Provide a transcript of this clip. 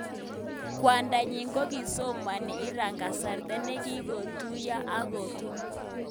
Kwandanyi kokisomani Iran kasarta ne kikotuyan ak kotun kamenyin.